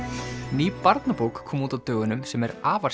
ný barnabók kom út á dögunum sem er afar